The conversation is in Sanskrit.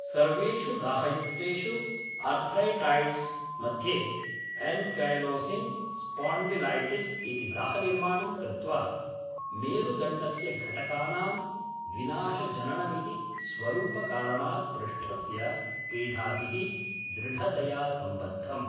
सर्वेषु दाहयुक्तेषु अर्थ्रैटैड्स् मध्ये एन्कैलोसिङ्ग् स्पॉन्डिलैटिस् इति दाहनिर्माणं कृत्वा मेरुदण्डस्य घटकानां विनाशजननमिति स्वरूपकारणात् पृष्ठस्य पीढाभिः दृढतया संबद्धम्।